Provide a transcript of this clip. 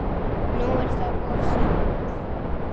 Nú er það of seint.